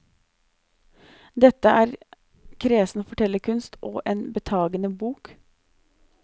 Dette er kresen fortellerkunst og en betagende bok.